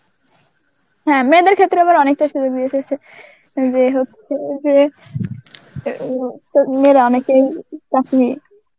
হ্যাঁ মেয়েদের ক্ষেত্রে আবার অনেকটা সুযোগ দিয়েছে ছে~ যেই হচ্ছে যে কি~ মেয়েরা অনেকেই চাকরি